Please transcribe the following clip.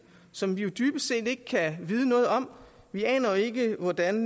som vi dybest set ikke kan vide noget om vi aner ikke hvordan